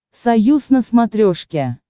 союз на смотрешке